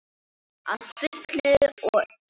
Að fullu og öllu.